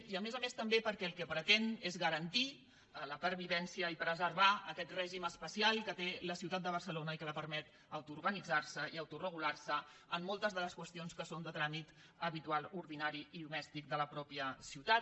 i a més a més també perquè el que pretén és garantir la pervivència i preservar aquest règim especial que té la ciutat de barcelona i que li permet autoorganitzar se i autoregular se en moltes de les qüestions que són de tràmit habitual ordinari i domèstic de la mateixa ciutat